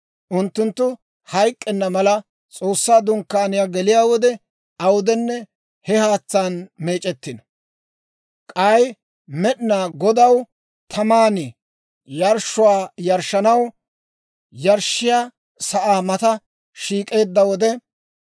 Unttunttu hayk'k'enna mala, S'oossaa Dunkkaaniyaa geliyaa wode, awudenne he haatsaan meec'ettino. K'ay Med'inaa Godaw taman yarshshuwaa yarshshanaw yarshshiyaa sa'aa mata shiik'eedda wode,